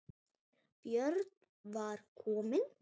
Björn var kominn.